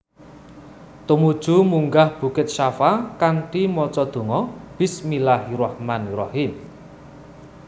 Tumuju munggah bukit Shafa kanthi maca donga Bismillahirrahmanirrahim